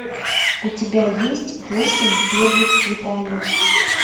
у тебя есть восемь первых свиданий